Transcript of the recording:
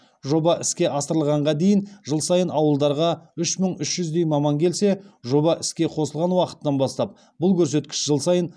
жоба іске асырылғанға дейін жыл сайын ауылдарға үш мың үш жүздей маман келсе жоба іске қосылған уақыттан бастап бұл көрсеткіш жыл сайын